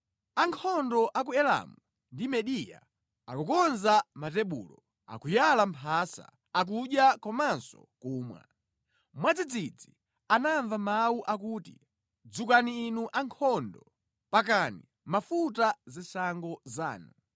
Ankhondo a ku Elamu ndi Mediya akukonza matebulo, akuyala mphasa, akudya komanso kumwa! Mwadzidzidzi anamva mawu akuti, “Dzukani inu ankhondo, pakani mafuta zishango zanu!”